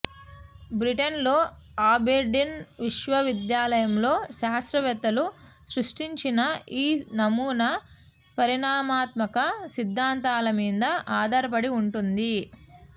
బ్రిటన్లో అబెర్డీన్ విశ్వవిద్యాలయంలో శాస్త్రవేత్తలు సృష్టించిన ఈ నమూనా పరిణామాత్మక సిద్ధాంతాల మీద ఆధారపడి ఉంటుంది